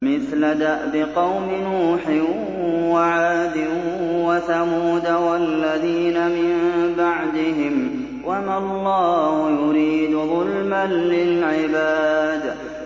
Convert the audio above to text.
مِثْلَ دَأْبِ قَوْمِ نُوحٍ وَعَادٍ وَثَمُودَ وَالَّذِينَ مِن بَعْدِهِمْ ۚ وَمَا اللَّهُ يُرِيدُ ظُلْمًا لِّلْعِبَادِ